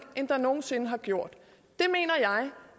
end der nogen sinde har gjort